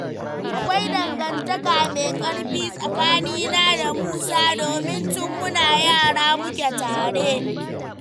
Akwai dangantaka mai ƙarfi tsakanina da Musa, domin tun muna yara muke tare.